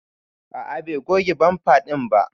A'a Bai goge bamfa din ba.